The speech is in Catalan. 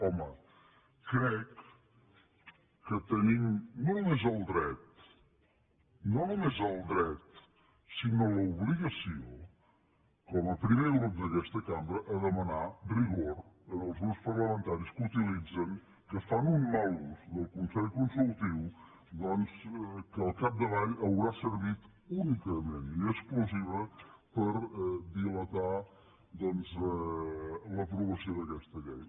home crec que tenim no només el dret no només el dret sinó l’obligació com a primer grup d’aquesta cambra a demanar rigor als grups parlamentaris que utilitzen que fan un mal ús del consell consultiu doncs que al capdavall haurà servit únicament i exclusiva per dilatar l’aprovació d’aquesta llei